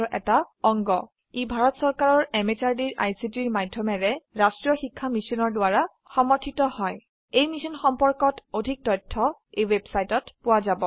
ই ভাৰত চৰকাৰৰ MHRDৰ ICTৰ মাধয়মেৰে ৰাস্ত্ৰীয় শিক্ষা মিছনৰ দ্ৱাৰা সমৰ্থিত হয় ই মিশ্যন সম্পৰ্কত অধিক তথ্য spoken hyphen tutorial dot org slash এনএমইআইচিত হাইফেন ইন্ট্ৰ ৱেবচাইটত পোৱা যাব